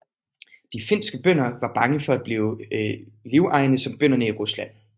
De finske bønder var bange for at blive livegne som bønderne i Rusland